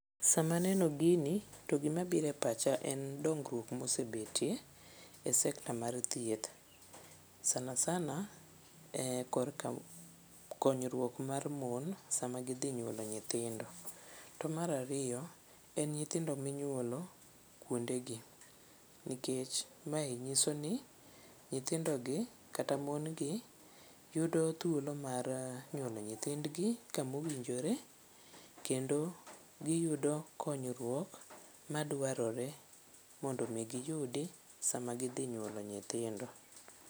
Sama aneno gini to gimabiro e pacha en dongruok mosebetie e sekta mar thieth, sana sana korka konyruok mar mon sama gidhi nyuolo nyithindo. To mar ariyo en nyithindo minyuolo kuondegi, nikech mae nyiso ni nyithindogi kata mon gi yudo thuolo mar nyuolo nyithindgi kamowinjore kendo giyudo konyruok madwarore mondo omi giyudi sama gidhi nyuolo nyithindo.